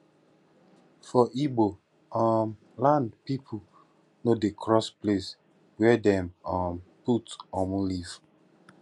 for igbo um land pipo no dey cross place were dem um put omu leaf